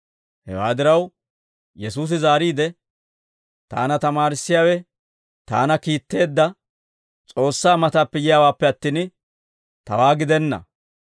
Hewaa diraw, Yesuusi zaariide, «Taana tamaarissiyaawe taana kiitteedda S'oossaa matappe yiyaawaappe attin, tawaa gidenna.